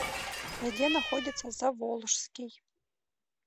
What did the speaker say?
где находится заволжский